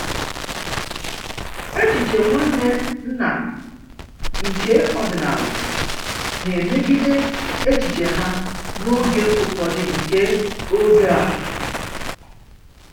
Echiche Nwanne nna nke ọdịnala na-emegide echiche ha n'oge ufọdu nke oge a.